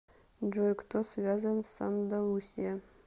джой кто связан с андалусия